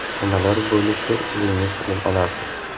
Nimalar bo‘lishi o‘zingiz bilib olasiz.